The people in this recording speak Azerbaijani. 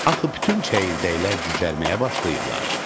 Axı bütün çəyirdəklər cücərməyə başlayıblar.